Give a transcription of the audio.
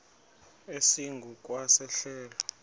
esingu kwa sehlelo